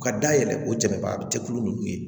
U ka dayɛlɛ o jama cɛkulu ninnu ye